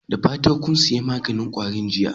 Da fatan kun sayi maganin kwarin jiya?